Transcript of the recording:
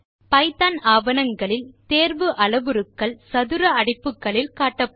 Python ஆவணங்களில் தேர்வு அளவுருக்கள் சதுர அடைப்புக்குள் காட்டப்படும்